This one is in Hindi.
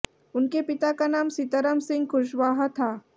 उनके पिता का नाम सीताराम सिंह कुशवाहा था